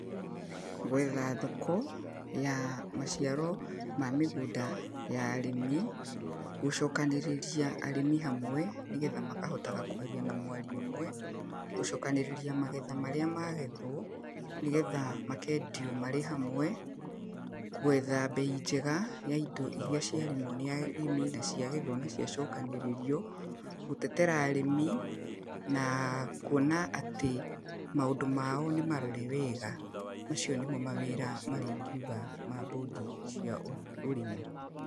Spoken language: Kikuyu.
Gwetha thoko, ya maciaro ma mĩgũnda ya arĩmi, gũcokanĩrĩria arĩmi hamwe nĩgetha makahotaga kwaria na mwario ũmwe. Gũcokanĩrĩria magetha marĩa magethwo nĩgetha makendio marĩ hamwe. Gwetha bei njega ya indo iria ciarĩmwo nĩ arĩmi na ciagethwo na ciacokanĩrĩrio. Gũtetera arĩmi na kuona atĩ, maũndũ mao nĩ marore wega. Macio nĩmo mawĩra marĩa ingiuga ma bũndi cia ũrĩmi, ũrĩmi.